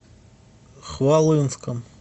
хвалынском